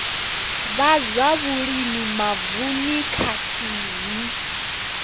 vha zwa vhulimi mavununi khathihi